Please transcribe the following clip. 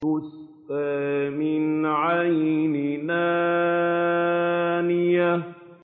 تُسْقَىٰ مِنْ عَيْنٍ آنِيَةٍ